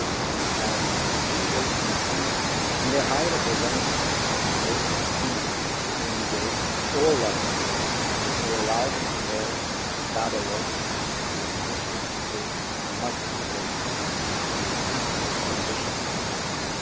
On our side we will continue and the High Representative will continue to engage at all levels to say loud and clear that the voices of the Egyptian people must be heard and the peaceful transition continues.